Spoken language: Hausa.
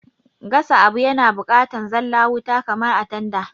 Gasa abu yana bukatan zalla wuta kamar a tanda